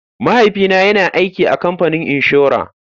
Mahaifina yana aiki a kamfanin inshora.